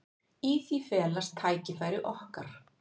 Í því felast tækifæri okkar.